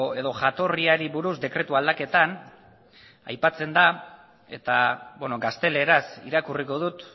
edo jatorriari buruz dekretu aldaketan aipatzen da eta gazteleraz irakurriko dut